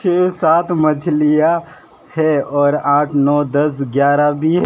के साथ मछलियां है और आठ नौ दस ग्यारह भी--